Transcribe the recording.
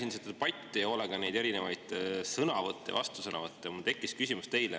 Ma jälgisin hoolega seda debatti ja neid sõnavõtte ja vastusõnavõtte ning mul tekkis küsimus teile.